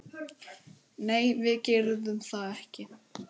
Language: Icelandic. Nei, við gerðum það ekki.